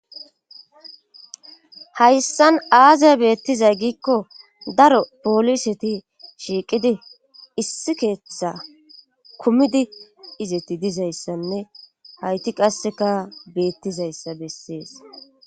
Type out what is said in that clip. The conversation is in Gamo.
hayssan aaza beettizay giikko daro pooliseti shiiqidi issi keeththa kumidi izeti dizayssanne hayti qasseka beettizayssa bessees